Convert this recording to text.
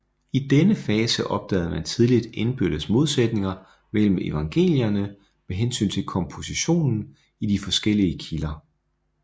I denne fase opdagede man tidligt indbyrdes modsætninger mellem evangelierne med hensyn til kompositionen i de forskellige kilder